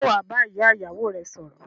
Sé wàá ba ìyá ìyáwò rẹ sòrò